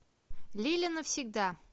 лиля навсегда